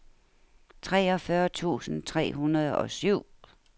treogfyrre tusind tre hundrede og syv